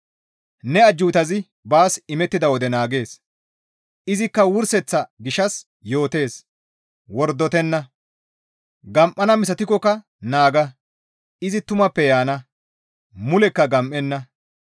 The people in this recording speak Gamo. Ne ajjuutazi baas imettida wode naagees; izikka wurseththa gishshas yootees, wordotenna. Gam7ana misatikkoka naaga; izi tumappe yaana; mulekka gam7enna.